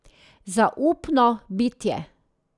Zaupno bitje.